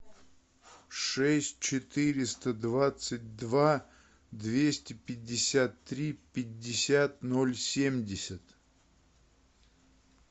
шесть четыреста двадцать два двести пятьдесят три пятьдесят ноль семьдесят